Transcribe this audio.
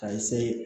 Ka